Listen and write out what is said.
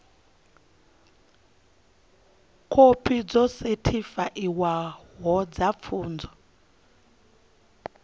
khophi dzo sethifaiwaho dza pfunzo